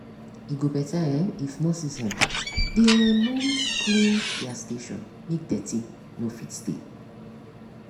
e go better um if nurses um dey um always clean their station make deti no fit stay.